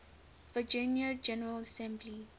virginia general assembly